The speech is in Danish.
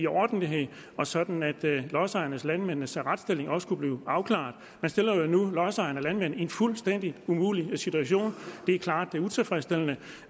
ordentligt og sådan at lodsejernes og landmændenes retsstilling også kunne blive afklaret man stiller jo nu lodsejerne og landmændene i en fuldstændig umulig situation det er klart utilfredsstillende